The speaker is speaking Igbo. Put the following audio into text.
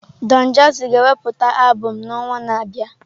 Don Jazzy ga-ewepụta albụm n'ọnwa na-abịa.